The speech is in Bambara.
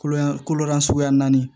Kolo yan kolo suguya naani